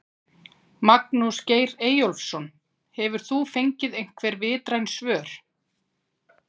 Magnús Geir Eyjólfsson: Hefur þú fengið einhver vitræn svör?